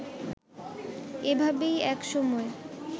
এভাবেই এক সময়